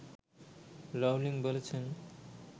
Rowling বলেছেন